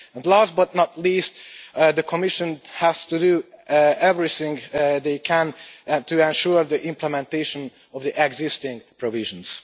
Last, but not least, the Commission has to do everything it can to ensure the implementation of the existing provisions.